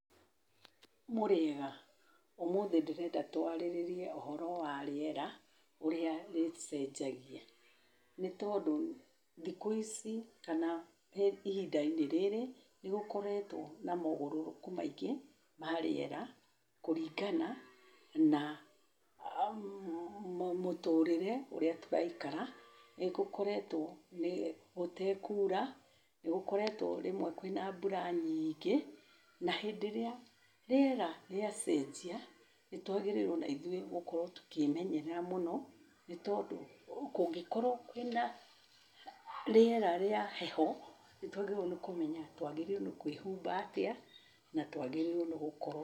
Mũrĩega, ũmũthĩ ndĩrenda tũarĩrĩrie ũhoro wa rĩera, ũrĩa rĩcenjagia. Nĩ tondũ thikũ ici, kana ihinda-inĩ rĩrĩ, nĩ gũkoretwo na maũgarũrũku maingĩ ma rĩera kũringana na mũtũrĩre ũrĩa tũraikara. Nĩ gũkoretwo gũtekuura, nĩ gũkoretwo rĩmwe kwĩna mbura nyingĩ, na hĩndĩ ĩrĩa rĩera rĩacenjia, nĩ twagĩrĩirwo o na ithuĩ tũkĩĩmenyerera mũno. Nĩ tondũ kũngĩkorwo kwĩna rĩera rĩa heho, nĩ twagĩrĩire nĩ kũmenya twagĩrĩrwo nĩ kwĩhumba atĩa, na twagĩrĩire nĩ gũkorwo-